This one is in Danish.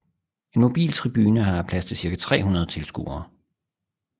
En mobil tribune har plads til cirka 300 tilskuere